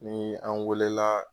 Ni an weelela